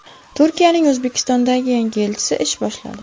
Turkiyaning O‘zbekistondagi yangi elchisi ish boshladi.